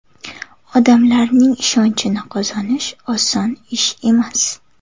Odamlarning ishonchini qozonish oson ish emas.